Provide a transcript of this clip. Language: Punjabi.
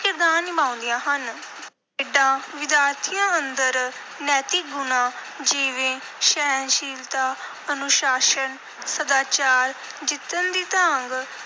ਕਿਰਦਾਰ ਨਿਭਾਉਂਦੀਆਂ ਹਨ। ਖੇਡਾਂ ਵਿਦਿਆਰਥੀਆਂ ਅੰਦਰ ਨੈਤਿਕ ਗੁਣਾਂ, ਜਿਵੇਂ ਸਹਿਣਸ਼ੀਲਤਾ, ਅਨੁਸ਼ਾਸਨ, ਸਦਾਚਾਰ, ਜਿੱਤਣ ਦੀ ਤਾਂਘ,